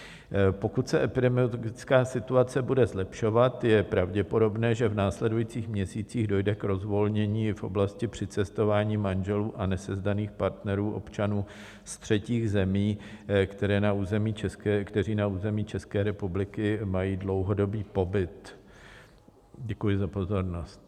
Pokud se epidemiologická situace bude zlepšovat, je pravděpodobné, že v následujících měsících dojde k rozvolnění v oblasti přicestování manželů a nesezdaných partnerů, občanů ze třetích zemí, kteří na území České republiky mají dlouhodobý pobyt. Děkuji za pozornost.